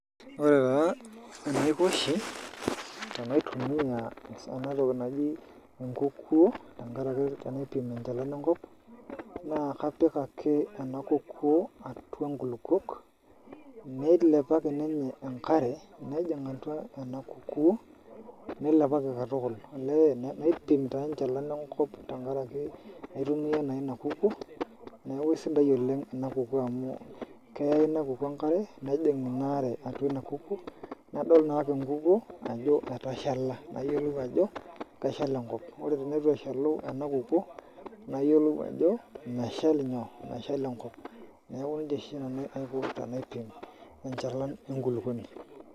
Ore taa enaiko oshi tenaitumia ena toki naji ekukuoe tenkaraki tenaipim enchalan enkop, naa kepik ake ena kukuo atua inkulupuok neilepaki enkare nejing atua ena kukuo neilepaki katukul. Olee naipim taa enchalan enkop tenkaraki naitumia naa ina kukuo. Neaku isidai oleng ena kukuo amu, keya ina kukuo enkare nejing ina are atua ina kukuo nadol naake ekukuo ajo, etashala nayiolou ajo, keshal enkop. Ore teneitu eshalu ina kukuo nayiolou ajo meshal inyoo, meshal enkop. Neaku nejia oshi aiko tenaipim enchalan enkulupuoni.